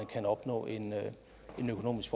kan opnå en økonomisk